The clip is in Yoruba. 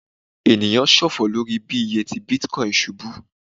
eniyan ṣọfọ lori bi iye ti Bitcoin ṣubu